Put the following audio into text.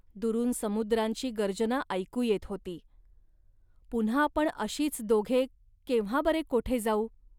दुरून समुद्रांची गर्जना ऐकू येत होती. पुन्हा आपण अशीच दोघे केव्हा बरे कोठे जाऊ